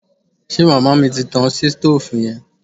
Ṣe màmá mi ti tan sitóòfù yẹn